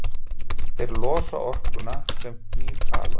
Þeir losa orkuna sem knýr halann.